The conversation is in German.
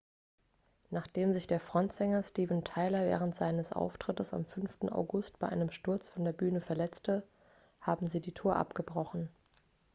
nachdem sich der frontsänger steven tyler während eines auftrittes am 5. august bei einem sturz von der bühne verletzte haben sie die tour abgebrochen